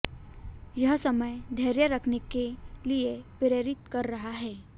यह समय धैर्य रखने के लिए प्रेरित कर रहा है